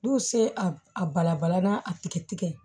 N'u se a balabala n'a tigɛ tigɛ